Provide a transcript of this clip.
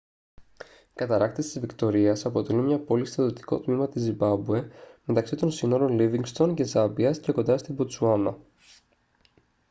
οι καταρράκτες της βικτωρίας αποτελούν μια πόλη στο δυτικό τμήμα της ζιμπάμπουε μεταξύ των συνόρων λίβινγκστον και ζάμπιας και κοντά στη μποτσουάνα